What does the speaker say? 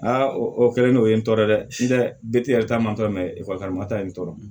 o kɛlen no o ye n tɔɔrɔ dɛ sini tɛ yɛrɛ ta ma tɔ ma taa yen n tɔɔrɔ